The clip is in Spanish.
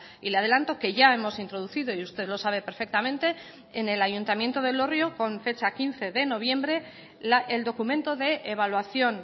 y le adelanto que ya hemos introducido y usted lo sabe perfectamente en el ayuntamiento de elorrio con fecha quince de noviembre el documento de evaluación